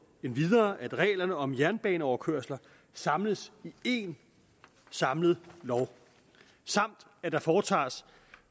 endvidere at reglerne om jernbaneoverkørsler samles i en samlet lov samt at der foretages